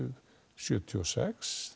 sjötíu og sex